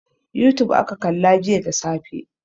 Youtube aka kalla jiya da safe.